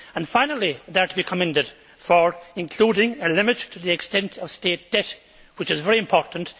Finally, they are to be commended for including a limit to the extent of state debt, which is very important.